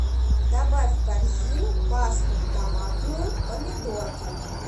добавь в корзину пасту томатную помидорка